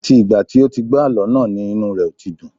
Àti ìgbà tí ó ti gbọ́ àlọ́ náà ni inu ẹ̀ ò ti dùn